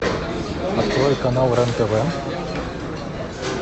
открой канал рен тв